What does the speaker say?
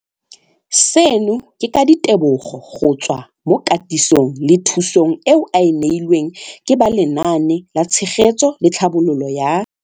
Seno ke ka ditebogo go tswa mo katisong le thu song eo a e neilweng ke ba Lenaane la Tshegetso le Tlhabololo ya.